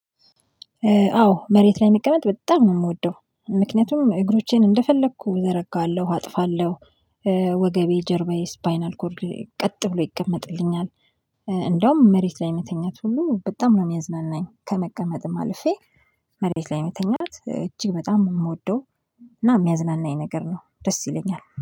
አዎ መሬት ላይ መቀመጥ በጣም ነው የምወደው፤ ምክንያቱም እግሮቼን እንደፈለኩ ዘረጋለሁ፤ አጥፋለሁ፤ ወገቤ ጀርባዬ ስፓይን አልኮርድ ቀጥ ብሎ ይቀመጥልኛል፤ እንደውም መሬት ላይ የሚተኛት ሁሉ በጣም ነው የሚያዝናናኝ፤ ከመቀመጥም አልፌ። መሬት ላይ መተኛት እጅግ በጣም የምወደው እና የሚያዝናናኝ ነገር ነው ደስ ይለኛል።